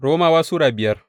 Romawa Sura biyar